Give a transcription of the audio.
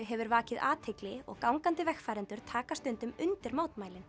hefur vakið athygli og gangandi vegfarendur taka stundum undir mótmælin